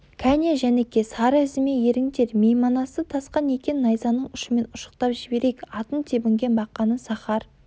кәне жәніке сары ізіме еріңдер мейманасы тасқан екен найзаның ұшымен ұшықтап жіберейік атын тебінген бақаны сахар